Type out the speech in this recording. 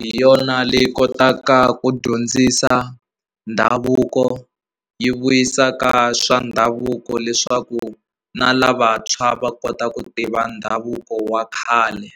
hi yona leyi kotaka ku dyondzisa ndhavuko yi vuyisaka swa ndhavuko leswaku na lavantshwa va kota ku tiva ndhavuko wa khale.